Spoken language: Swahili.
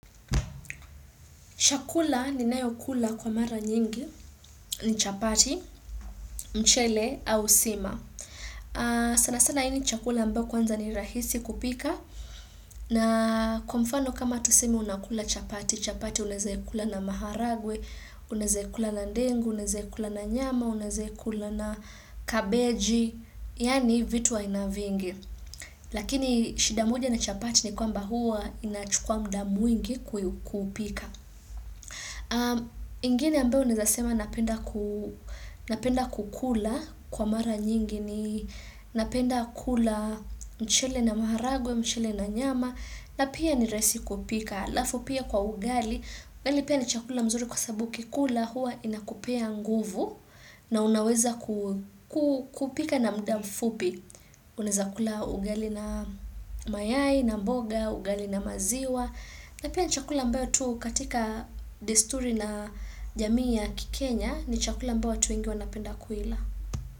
Chakula ninayokula kwa mara nyingi, ni chapati, mchele au sima. Sana sana hii ni chakula ambao kwanza ni rahisi kupika. Na kwa mfano kama tusemi unakula chapati, chapati unaeza yakula na maharagwe, unaeze ikula na ndengu, unaeze ikula na nyama, unaeze ikula na kabeji, yani vitu wa aina vingi. Lakini shida moja na chapati ni kwamba huwa inachukua mda mwingi kuupika. Ingine ambayo unaeza sema napenda kukula kwa mara nyingi ni napenda kula mchele na maharagwe, mchele na nyama na pia ni raisi kupika alafu pia kwa ugali, ugali pia ni chakula mzuri kwa sabu ukikula hua inakupea nguvu na unaweza kupika na mda mfupi Unaeza kula ugali na mayai, na mboga, ugali na maziwa na pia ni chakula ambayo tu katika desturi la jamii ya kikenya ni chakula ambao watu wengi wanapenda kuila.